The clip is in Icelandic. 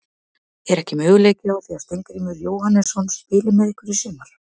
Er ekki möguleiki á því að Steingrímur Jóhannesson spili með ykkur í sumar?